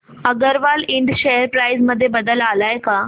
Agarwal ind share price मध्ये बदल आलाय का